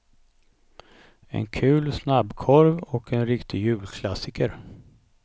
En kul snabbkorv och en riktig julklassiker.